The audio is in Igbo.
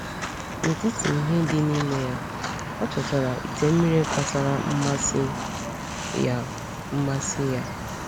N’etiti ihe dị n’ime ya, o chọtara ite mmiri kpatara mmasị ya. mmasị ya.